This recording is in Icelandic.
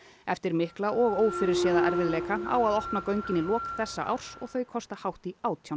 eftir mikla og ófyrirséða erfiðleika á að opna göngin í lok þessa árs og þau kosta hátt í átján